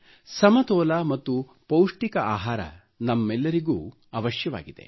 ಸಮತೋಲ ಮತ್ತು ಪೌಷ್ಟಿಕ ಆಹಾರ ನಮ್ಮೆಲ್ಲರಿಗೂ ಅವಶ್ಯವಾಗಿದೆ